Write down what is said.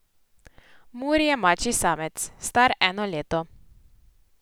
Muri je mačji samec, star eno leto.